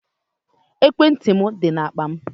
Ekwentị dị na akpa m.